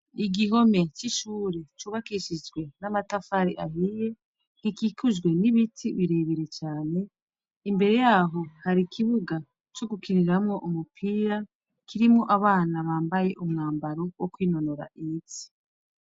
Igihome c'ishure cubakishijwe n'amatafari ahiye. Gikikujwe n'ibiti birebire cane imbere yaho hari ikibuga c'ugukiniramwo umupira kirimwo abana bambaye umwambaro wo kwinonora imitsi.